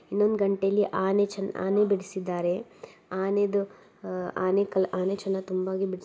ಇನ್ನೊಂದು ಗಂಟೆ ಅಲ್ಲಿ ಆನೆ ಆನೆ ಬಿಡಸಿದಾರೆ ಆನೆದ ಅಹ್ ಆನೆ ಚೆನ್ನಾಗಿ ತುಂಬಾ---